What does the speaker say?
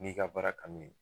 N'i ka baara kanu ye